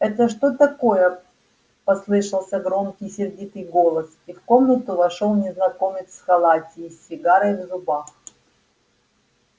это что такое послышался громкий сердитый голос и в комнату вошёл незнакомец в халате и с сигарой в зубах